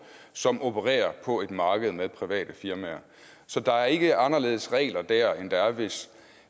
som opererer på et marked med private firmaer så der er ikke anderledes regler der end der er hvis